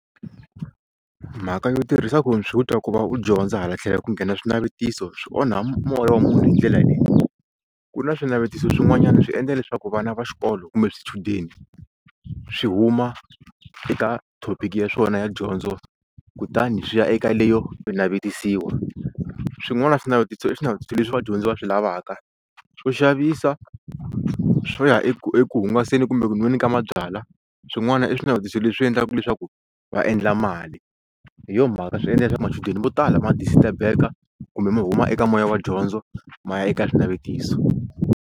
Mhaka yo tirhisa khomphyuta ku va u dyondza hala tlhelo ku nghena swinavetiso swi onha moya wa munhu hi ndlela leyi ku na swinavetiso swin'wanyana swi endla leswaku vana va xikolo kumbe swichudeni swi huma eka thopiki ya swona ya dyondzo kutani swi ya eka leyo navetisiwa swin'wana swinavetiso i swinavetiso leswi vadyondzi va swi lavaka swo xavisa swo ya eku eku hungasela kumbe ku nweni ka mabyalwa swin'wana i swinavetiso leswi endlaka leswaku va endla mali hi yo mhaka swi endla leswaku machudeni mo tala ma disturb-eka kumbe ma huma eka moya wa dyondzo ma ya eka swinavetiso.